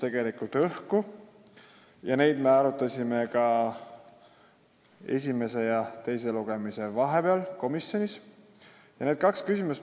Me arutasime neid õhku jäänud küsimusi ka esimese ja teise lugemise vahepeal komisjonis.